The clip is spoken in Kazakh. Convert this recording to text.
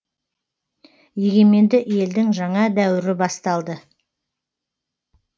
егеменді елдің жаңа дәуірі басталды